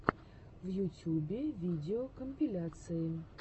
в ютьюбе видеокомпиляции